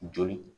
Joli